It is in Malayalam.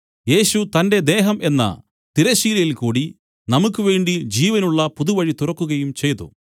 യേശു തന്റെ ദേഹം എന്ന തിരശ്ശീലയിൽകൂടി നമുക്കുവേണ്ടി ജീവനുള്ള പുതുവഴി തുറക്കുകയും ചെയ്തു